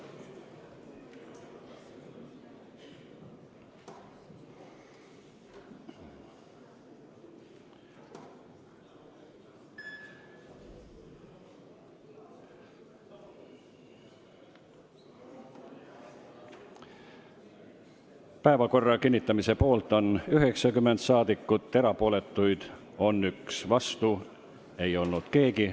Hääletustulemused Päevakorra kinnitamise poolt on 90 rahvasaadikut, erapooletuid on 1, vastu ei ole keegi.